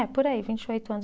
É, por aí, vinte e oito anos